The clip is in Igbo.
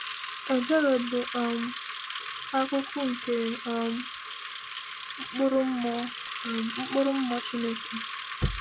Ebere bụ um akụkụ nke um mkpụrụ mmụọ um mkpụrụ mmụọ Chineke.